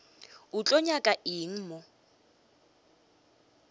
o tlo nyaka eng mo